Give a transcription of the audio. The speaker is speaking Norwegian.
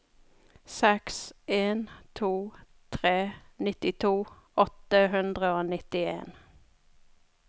seks en to tre nittito åtte hundre og nittien